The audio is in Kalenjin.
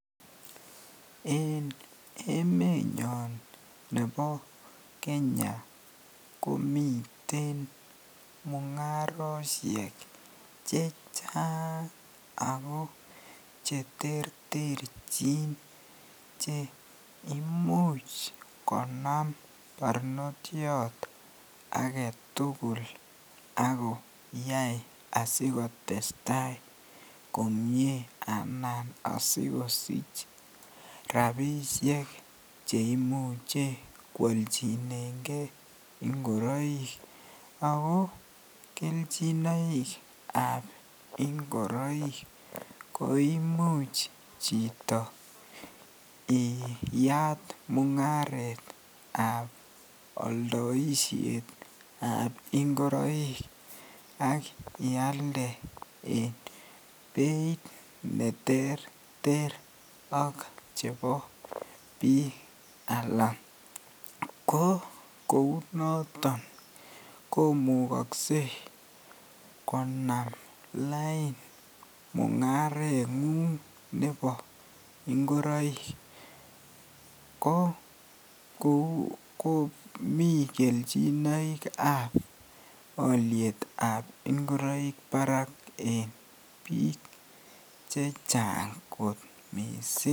En emenyon nebo Kenya komiten mungaroshek chechang ak ko cheterterchin cheimuch konam barnotiot aketukul ak koyai asikotesta komnye anan asikosich rabishek cheimuche kwolchinenge ingoroik ak ko kelchinoikab ingoroik koimuch chito iyaat mungaretab oldoishetab ingoroik ak ialde en beit neterter ak chebo bii alaa ko kounoton komukokse konam lain mungarengung nebo ingoroik ko kou komii kelchinoikab olietab ingoroik en biik chechang kot mising.